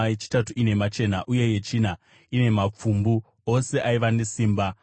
yechitatu ine machena uye yechina ine mapfumbu, ose aiva nesimba.